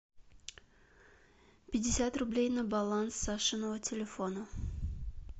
пятьдесят рублей на баланс сашиного телефона